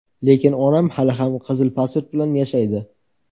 Lekin onam hali ham qizil pasport bilan yashaydi.